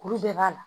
Kuru bɛɛ b'a la